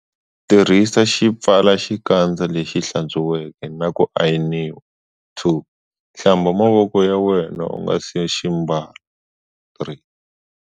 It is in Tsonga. Tirhisa xipfalaxikandza lexi hlatswiweke na ku ayiniwa. 2. Hlamba mavoko ya wena u nga si xi ambala. 3.